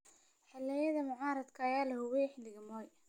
Xisbiyada mucaaradka ayaa la cabudhiyey xilligii Moi.